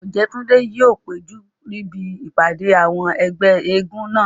Ọ̀jẹ́túndé yóò péjú níbi ìpàdé àwọn ẹgbẹ́ eégún náà